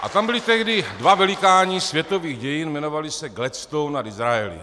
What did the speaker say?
A tam byli tehdy dva velikáni světových dějin, jmenovali se Gladstone a Disraeli.